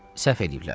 Səhv eləyiblər.